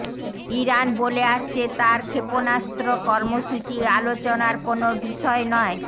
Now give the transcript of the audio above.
Iran বলে আসছে তার ক্ষেপণাস্ত্র কর্মসূচি আলোচনার কোনো বিষয় নয়